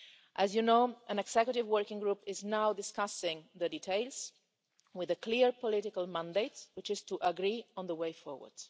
As you know, an executive working group is now discussing the details, with a clear political mandate, which is to agree on the way forward.